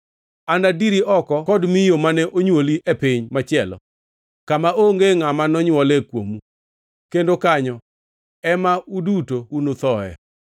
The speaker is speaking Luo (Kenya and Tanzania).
Anadiri oko kod miyo mane onywoli e piny machielo, kama onge ngʼama nonywole kuomu, kendo kanyo ema uduto unuthoe.